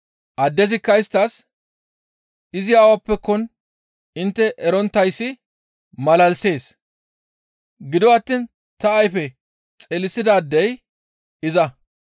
Addezikka isttas, «Izi awappekkon intte eronttayssi malalisees; gido attiin ta ayfe xeelisidaadey iza.